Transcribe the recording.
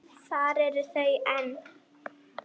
Þar eru þau enn.